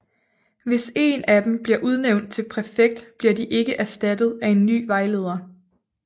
Hvis en af dem bliver udnævnt til præfekt bliver de ikke erstattet af en ny vejleder